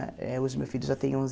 Hoje meu filho já tem onze